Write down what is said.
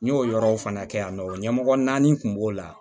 N y'o yɔrɔw fana kɛ yan nɔ ɲɛmɔgɔ naani kun b'o la